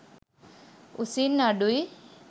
උසින් අඩුයි.